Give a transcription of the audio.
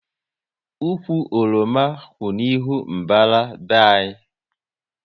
Ụkwụ oroma kwụ n'ihu mbàrá be anyị